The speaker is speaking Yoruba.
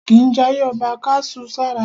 A kìí jayé ọba ká su sára.